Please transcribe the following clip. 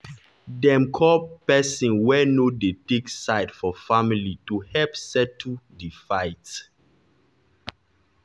dem call person wey no dey take side for family to help settle di fight.